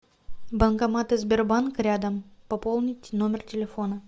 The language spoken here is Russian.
банкоматы сбербанка рядом пополнить номер телефона